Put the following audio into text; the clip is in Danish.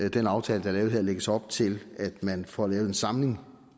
i den aftale der er lavet her lægges op til at man får lavet en samlet